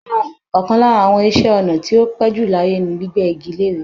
Ọ̀kan lára àwọn iṣẹ́-ọnà tí ó ti pẹ́jù láyé ni gbígbẹ́ igi lére.